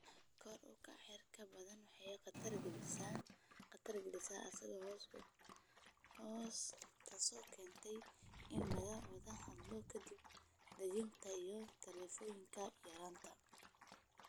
Kor u kaca heerarka baddu waxay khatar gelinaysaa aagagga hoose, taasoo keentay in laga wada hadlo dib u dejinta iyo tallaabooyinka yaraynta.